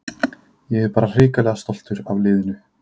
Ég er bara hrikalega stoltur af liðinu.